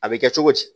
A bɛ kɛ cogo di